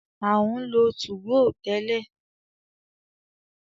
A ń lo 2go tẹ́lẹ̀.